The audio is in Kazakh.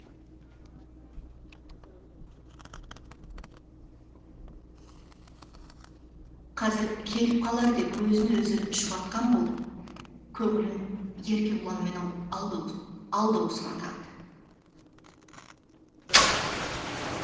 қазір келіп қалар деп өзін өзі жұбатқан болып көңілін еркебұланымен алдаусыратады